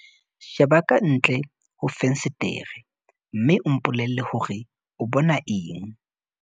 sheba ka ntle ho fensetere mme o mpolelle hore o bona eng